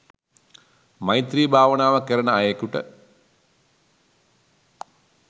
මෛත්‍රී භාවනාව කරන අයෙකුට